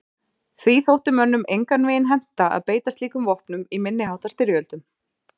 Því þótti mönnum engan veginn henta að beita slíkum vopnum í minni háttar styrjöldum.